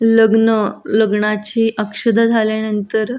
लग्न लग्नाची अक्षता झाल्या नंतर--